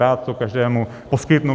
Rád to každému poskytnu.